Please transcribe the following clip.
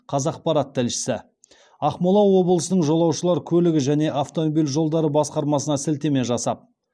қазақпарат тілшісі ақмола облысының жолаушылар көлігі және автомобиль жолдары басқармасына сілтеме жасап